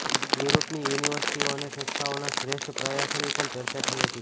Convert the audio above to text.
યુરોપની યુનિવર્સિટીઓ અને સંસ્થાઓના શ્રેષ્ઠ પ્રયાસોની પણ ચર્ચા થઈ હતી